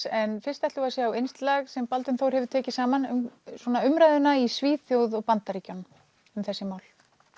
en fyrst ætlum við að sjá innslag sem Baldvin Þór hefur tekið saman um umræðuna í Svíþjóð og Bandaríkjunum um þessi mál